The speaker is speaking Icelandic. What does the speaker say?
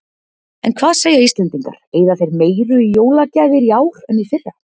En hvað segja Íslendingar, eyða þeir meiru í jólagjafir í ár en í fyrra?